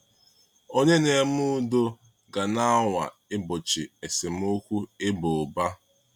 Onye na-eme udo ga-anwa igbochi esemokwu ịba ụba.